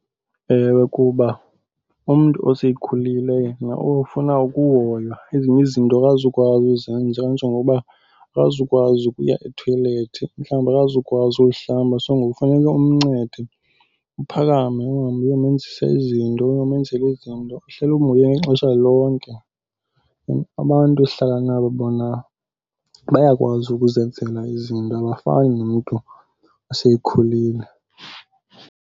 Ewe, kuba umntu osekhulile yena ofuna ukuhoywa ezinye izinto akazukwazi uzenza. Kanjengoba akazukwazi ukuya ethoyilethi, mhlawumbi akazukwazi uyihlamba. So ngoku funeke umncede, uphakame uhambe uyomenzisa izinto, ungamenzeli izinto, uhleli umhoya ngexesha lonke. And abantu esihlala nabo bona bayakwazi ukuzenzela izinto abafani nomntu oseyekhulile.